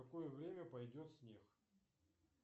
в какое время пойдет снег